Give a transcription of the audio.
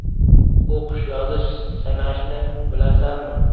O‘qish, yozish, sanashni bilasanmi?